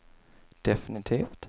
definitivt